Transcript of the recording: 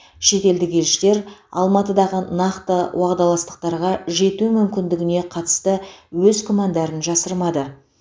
шетелдік елшілер алматыдағы нақты уағдаластықтарға жету мүмкіндігіне қатысты өз күмәндарын жасырмады